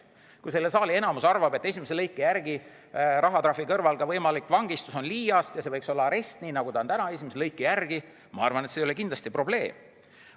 Kui selle saali enamus arvab, et esimese lõike järgi rahatrahvi kõrval on võimalik vangistus liiast ja see võiks olla arest, nii nagu see on täna esimese lõike järgi, siis ma arvan, et see ei ole kindlasti probleem.